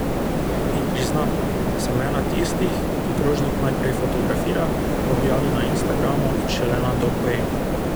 In priznam, sem ena tistih, ki krožnik najprej fotografira, objavi na instagramu in šele nato poje.